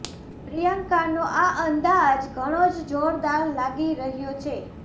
પ્રિયંકાનો આ અંદાજ ઘણો જ જોરદાર લાગી રહ્યો છે